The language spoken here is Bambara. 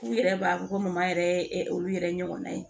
K'u yɛrɛ b'a fɔ ko maa yɛrɛ ye olu yɛrɛ ɲɔgɔnna ye